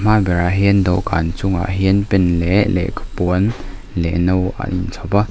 a hma berah hian dawhkân chungah hian pen leh lehkhapuan leh no a inchhawp a.